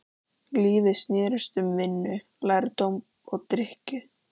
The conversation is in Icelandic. Lífið snerist um vinnu, lærdóm og drykkju.